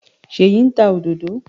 Ṣèyí ń ta òdòdó.